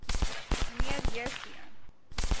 mnr j c